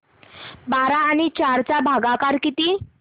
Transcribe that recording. बारा आणि चार चा भागाकर किती